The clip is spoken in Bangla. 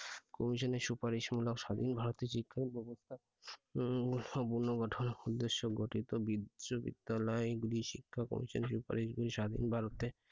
commission এর সুপারিশ মূলক স্বাধীন ভারতের শিক্ষা ব্যবস্থা উম পূর্ণগঠন উদ্দেশ্য গঠিত বিশ্ববিদ্যালয় গুলি শিক্ষা commission এর সুপারিশ করে স্বাধীন ভারতে,